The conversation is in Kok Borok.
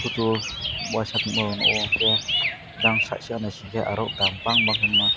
tor waisatima o nogo ongkhe jang side side naisikhe aro dam bangma kwbakma.